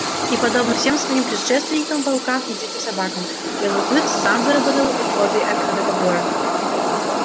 и подобно всем своим предшественникам волкам и диким собакам белый клык сам выработал условия этого договора